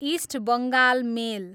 east Bengal मेल